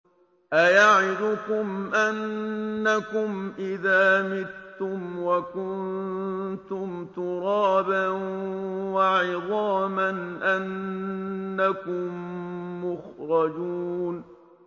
أَيَعِدُكُمْ أَنَّكُمْ إِذَا مِتُّمْ وَكُنتُمْ تُرَابًا وَعِظَامًا أَنَّكُم مُّخْرَجُونَ